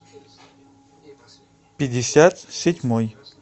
пятьдесят седьмой